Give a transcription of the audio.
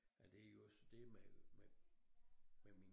Er det også det man man med min